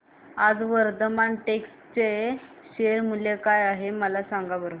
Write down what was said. आज वर्धमान टेक्स्ट चे शेअर मूल्य काय आहे सांगा बरं